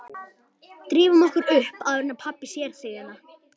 Drífum okkur upp áður en pabbi sér þig hérna